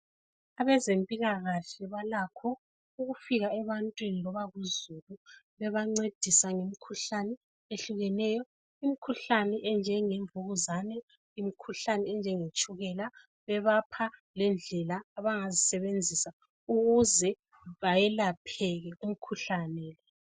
Abezempilakahle balakho ukufika ebantwini loba kuzulu bebancedisa ngemikhuhlane ehlukeneyo. Imkhuhlane enjenge mvukuzane . Imikhuhlane enjenge tshukela bebapha lendlela abangazisebenzisa ukuze bayelapheke umkhuhlane .